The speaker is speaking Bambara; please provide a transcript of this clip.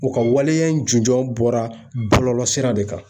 U ka waleya in jujɔn bɔra bɔlɔlɔ sira de kan.